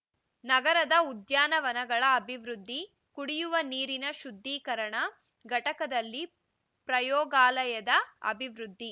ನಗರದ ಉದ್ಯಾನವನಗಳ ಅಭಿವೃದ್ಧಿ ಕುಡಿಯುವ ನೀರಿನ ಶುದ್ಧೀಕರಣ ಘಟಕದಲ್ಲಿ ಪ್ರಯೋಗಾಲಯದ ಅಭಿವೃದ್ಧಿ